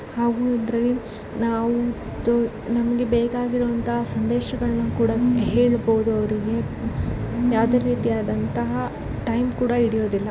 ಹಾಗೂ ಇದ್ರಲ್ಲಿ ನಾವು ತೊ ನಮ್ಗೆ ಬೇಕಾಗಿರೋ ಅಂತಹ ಸಂದೇಶಗಳನ್ನ ಕೂಡ ಹೇಳಬಹುದು ಅವ್ರಿಗೆ ಯಾವ್ದೇ ರೀತಿಯಾದಂತ ಟೈಮ್ ಕೂಡ ಹಿಡಿಯೋದಿಲ್ಲ.